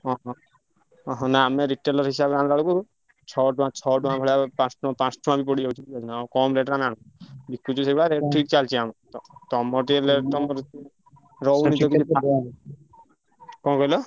ହଁ ହଁ ହଁ ଶୁଣ ଆମେ retailer ହିସାବରେ ଆଣିଲା ବେଳକୁ ଛଅ ଟଙ୍କା ଛଅ ଟଙ୍କା ଭଳିଆ ପା ପାଞ୍ଚ ଟଙ୍କା ବି ପଡ଼ିଯାଉଛି କମ୍ rate ରେ ଆମେ ଆଣୁଚୁ। ବିକୁଚୁ ସେଇଭଳିଆ rate ଠିକ୍ ଚାଲଚି ଆମର। ତମର ଟିକେ rate ତମର ରହୁନି କଣ କହିଲ?